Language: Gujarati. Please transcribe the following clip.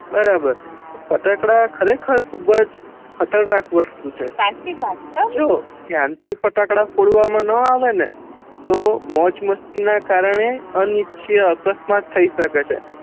બરાબર ફટાકડા ખરેખર ખુબજ ખતરનાક વસ્તુ છે જો ધ્યાનથી ફટાકડા ફોડવામા ના આવે ન તો મોજ મસ્તી ના કારણે અનીચ્નીય અકસ્માત થઇ સકે છે